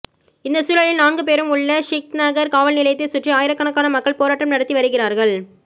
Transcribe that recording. இந்த சூழலில் நான்கு பேரும் உள்ள ஷித்நகர் காவல்நிலையத்தை சுற்றி ஆயிரக்கணக்கான மக்கள் போராட்டம் நடத்தி வருகிறார்கள்